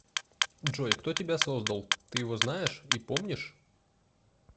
джой кто тебя создал ты его знаешь и помнишь